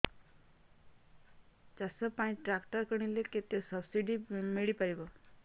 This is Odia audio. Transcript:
ଚାଷ ପାଇଁ ଟ୍ରାକ୍ଟର କିଣିଲେ କେତେ ସବ୍ସିଡି ମିଳିପାରିବ